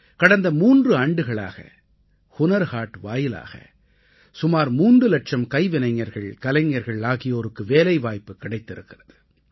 கடந்த மூன்று ஆண்டுகளாக ஹுனர் ஹாட் வாயிலாக சுமார் மூன்று இலட்சம் கைவினைஞர்கள் கலைஞர்கள் ஆகியோருக்கு வேலைவாய்ப்பு கிடைத்திருக்கிறது